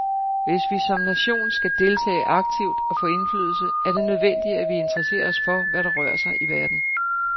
Hvis vi som nation skal deltage aktivt og få indflydelse, er det nødvendigt, at vi interesserer os for, hvad der rører sig i verden.